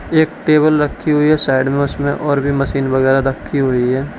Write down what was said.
एक टेबल रखी हुई है साइड में उसमें और भी मशीन वगैरा रखी हुई हैं।